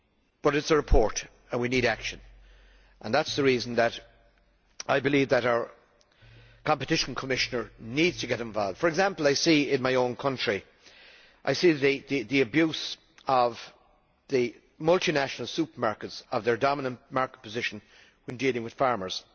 But it is a report and we need action, and that is the reason that I believe that our Competition Commissioner needs to get involved. For example, I see in my own country the abuse of the multinational supermarkets of their dominant market position in dealing with farmers.